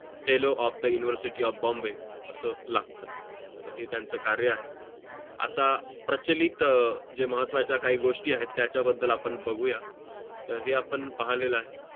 fellow of the university of Bombay असं लागतो तर है त्यांचं कार्य आहे आता प्रचलित जे महत्वाचा काही गोष्टी आहे त्याचा बदल आपण बघू या तर हे आपण पाहिलेलं आहे